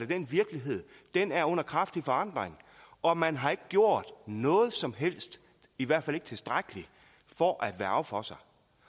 den virkelighed er under kraftig forandring og man har ikke gjort noget som helst i hvert fald ikke tilstrækkeligt for at værge for sig